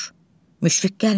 Müşfiq gəlmir.